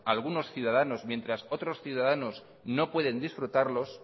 algunos ciudadanos mientras otros ciudadanos no pueden disfrutarlos